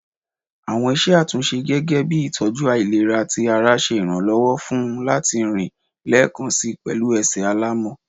Awọn iṣẹ atunṣe gẹgẹbi itọju ailera ti ara ṣe iranlọwọ fun u lati rin lẹẹkansi pẹlu ẹsẹ alamọ